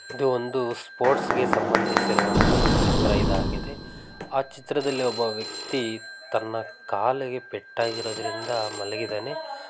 ಇದು ಒಂದು ಸ್ಪೋರ್ಟ್ಸ್ ಗೆ ಸಂಬಂದಿಸಿದ ಚಿತ್ರ ಇದಾಗಿದೆ ಆ ಚಿತ್ರದಲ್ಲಿ ಒಬ್ಬ ವ್ಯಕ್ತಿ ತನ್ನ ಕಾಲಿಗೆ ಪೆಟ್ ಆಗಿರುವುದರಿಂದ ಮಲಗಿದ್ದಾನೆ.